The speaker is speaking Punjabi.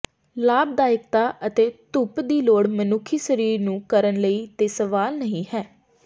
ਲਾਭਦਾਇਕਤਾ ਅਤੇ ਧੁੱਪ ਦੀ ਲੋੜ ਮਨੁੱਖੀ ਸਰੀਰ ਨੂੰ ਕਰਨ ਲਈ ਤੇ ਸਵਾਲ ਨਹੀ ਹੈ